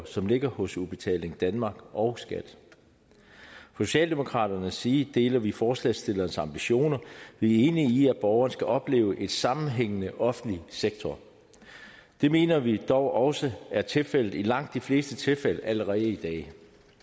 som ligger hos udbetaling danmark og skat fra socialdemokraternes side deler vi forslagsstillernes ambitioner vi er enige i at borgerne skal opleve en sammenhængende offentlig sektor det mener vi dog også er tilfældet i langt de fleste tilfælde allerede i dag